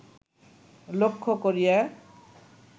লক্ষ্য করিয়া